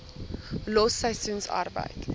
los seisoensarbeid